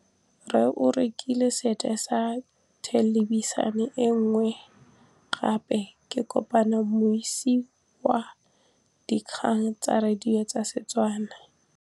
Rre o rekile sete ya thêlêbišênê e nngwe gape. Ke kopane mmuisi w dikgang tsa radio tsa Setswana.